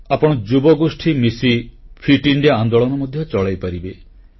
ଆପଣ ଯୁବଗୋଷ୍ଠୀ ମିଶି ଫିଟ୍ ଇଣ୍ଡିଆ ଆନ୍ଦୋଳନ ମଧ୍ୟ ଚଳାଇପାରିବେ